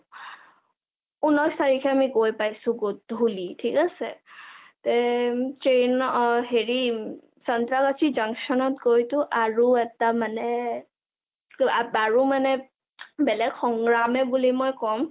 ঊনৈশ তাৰিখে আমি গৈ পাইছো গধূলি ঠিক আছে । তেঅঅ train হেৰি চান্ত্ৰা বাজি junction ত গৈটো আৰু এটা মানে আৰু বেলেগ সংগ্ৰমে বুলি মই কম